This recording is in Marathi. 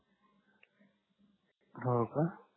हो का